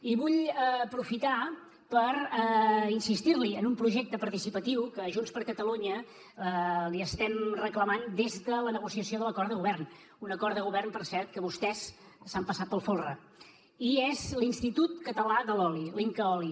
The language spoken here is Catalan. i vull aprofitar per insistir li en un projecte participatiu que junts per catalunya li estem reclamant des de la negociació de l’acord de govern un acord de govern per cert que vostès s’han passat pel folre i és l’institut català de l’oli l’incaoli